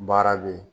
Baara bɛ yen